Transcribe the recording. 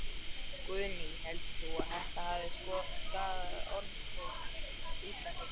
Guðný: Heldur þú að þetta hafi skaðað orðspor Íslendinga?